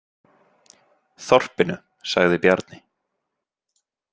Þorpinu, sagði Bjarni.